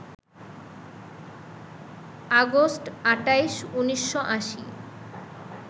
August ২৮, ১৯৮০